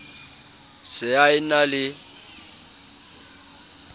se a e na le